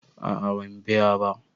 A'a ban biya ba